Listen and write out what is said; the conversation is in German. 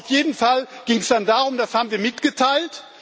Auf jeden Fall ging es dann darum das haben wir mitgeteilt.